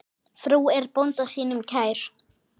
Frú er bónda sínum kær.